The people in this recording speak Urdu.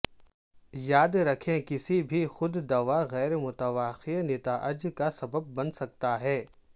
یاد رکھیں کسی بھی خود دوا غیر متوقع نتائج کا سبب بن سکتا ہے